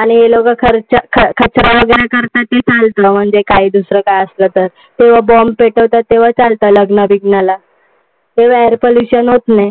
अरे लोकं खर्च कचरा वगैरे करतात ते चालतं. म्हणजे काई दुसर काय असलं तर. किंवा bomb पेटवतात ते चालत लग्ना-बिग्नाला. तेव्हा air pollution होत नाही.